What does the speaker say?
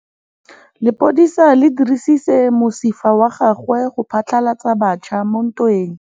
Lepodisa le dirisitse mosifa wa gagwe go phatlalatsa batšha mo ntweng.